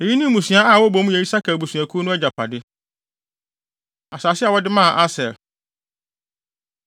Eyi ne mmusua a wɔbɔ mu yɛ Isakar abusuakuw no agyapade. Asase A Wɔde Maa Aser